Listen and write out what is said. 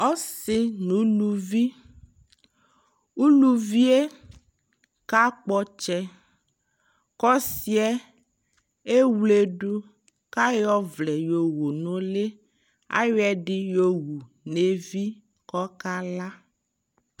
Asi nu uluvi Uluvie ka kpɔ ɔtsɛKɔ si yɛ ɛwledu ka yɔ vlɛ yɔ wu nu li Ayɔ ɛdi yɔ wu nɛ vi kɔka la